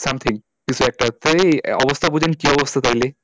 Something কিছু একটা অবস্থা বুঝুন কি অবস্থা তাহলে?